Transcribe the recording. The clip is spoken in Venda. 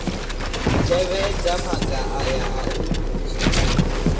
tevhedza maga aya a u